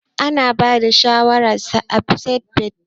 Ana bada shawarar sa seatbelt.